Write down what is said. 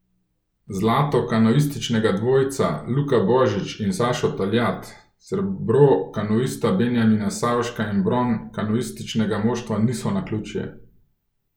Zlato kanuističnega dvojca Luka Božič in Sašo Taljat, srebro kanuista Benjamina Savška in bron kanuističnega moštva niso naključje.